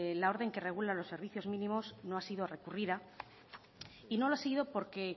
la orden que regula los servicios mínimos no ha sido recurrida y no lo ha sido porque